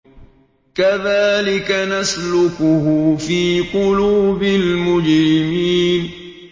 كَذَٰلِكَ نَسْلُكُهُ فِي قُلُوبِ الْمُجْرِمِينَ